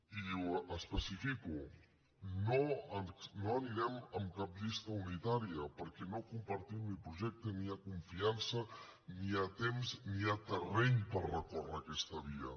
i ho especifico no anirem en cap llista unitària perquè no compartim ni el projecte ni hi ha confiança ni hi ha temps ni hi ha terreny per recórrer aquesta via